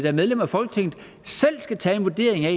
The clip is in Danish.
er medlemmer af folketinget selv skal tage en vurdering af